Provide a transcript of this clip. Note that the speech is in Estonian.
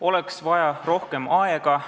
Oleks vaja rohkem aega.